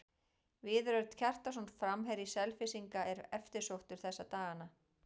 Viðar Örn Kjartansson, framherji Selfyssinga, er eftirsóttur þessa dagana.